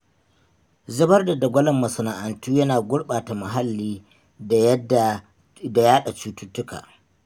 Zubar da dagwalon masana'antu yana gurɓata muhalli da yadda.. da yaɗa cututtuka